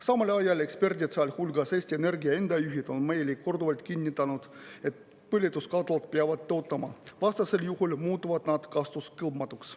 Samal ajal eksperdid, sealhulgas Eesti Energia enda juhid, on korduvalt kinnitanud, et põletuskatlad peavad töötama, vastasel juhul muutuvad nad kasutuskõlbmatuks.